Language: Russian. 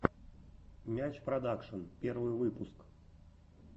мяч продакшен первый выпуск